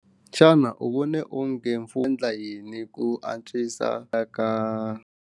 Xana u vone onge mfumo endla yini ku antswisa a ka.